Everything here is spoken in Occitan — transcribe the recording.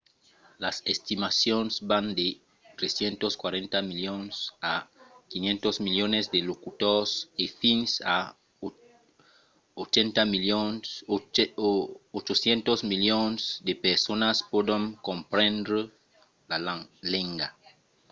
las estimacions van de 340 milions a 500 milions de locutors e fins a 800 milions de personas pòdon comprendre la lenga